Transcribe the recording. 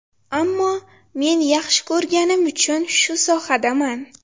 Ammo men yaxshi ko‘rganim uchun shu sohadaman.